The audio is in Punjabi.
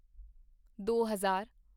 ਦੋ ਹਜ਼ਾਰ